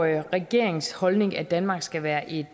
jo regeringens holdning at danmark skal være et